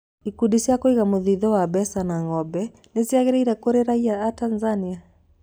Ikundi cia kũiga mũthithũ wa mbeca na ngombo nĩciagĩrĩire kũrĩ raiya atanzania?